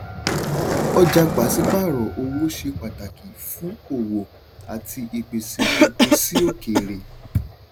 ọjà pàṣípààrò owó ṣe pàtàkì fún òwò àti ìpèsè epo sí òkèrè.